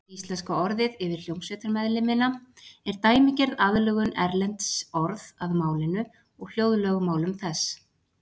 Íslenska orðið yfir hljómsveitarmeðlimina er dæmigerð aðlögun erlends orðs að málinu og hljóðlögmálum þess.